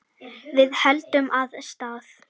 Við héldum af stað.